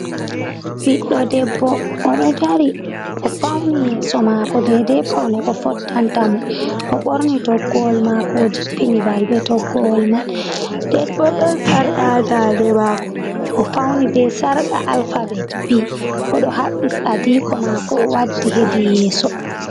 Ɓiɗɗo debbo oɗo dari o fauni yeso mako daidai paune ko fottanta mo o ɓorni toggowol mako o jippini balbe toggowol man nden bo ɗon sarka ha dande mako o fauni be sarka alpabet b oɗo haɓɓi adiko mako o waddi hedi yeso.